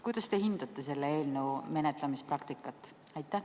Kuidas te hindate selle eelnõu menetlemise praktikat?